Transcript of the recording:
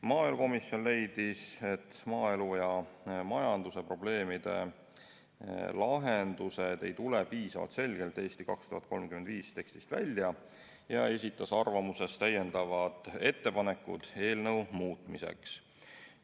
Maaelukomisjon leidis, et maaelu ja majanduse probleemide lahendused ei tule strateegia "Eesti 2035" tekstist piisavalt selgelt välja, ja esitas ettepanekud eelnõu muutmiseks.